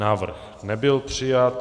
Návrh nebyl přijat.